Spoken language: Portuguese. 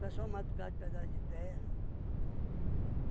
Pessoal mata por causa de pedaço de terra.